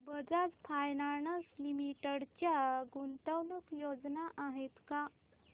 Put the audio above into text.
Bajaj finance limited च्या गुंतवणूक योजना आहेत का